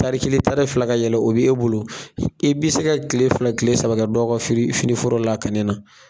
Tari kelen tari fila ka yɛlɛ o b'e bolo, i be se ka tile fila tile saba kɛ dɔ ka firi fini foro lakanni na.